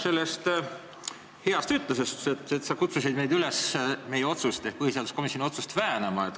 Mu teine küsimus tuleneb tõsiasjast, et sa kutsusid meid üles põhiseaduskomisjoni otsust väänama.